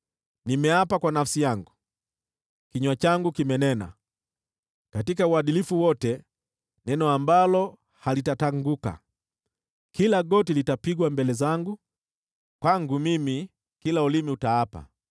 Nimeapa kwa nafsi yangu, kinywa changu kimenena katika uadilifu wote neno ambalo halitatanguka: Kila goti litapigwa mbele zangu, kwangu mimi kila ulimi utaapa.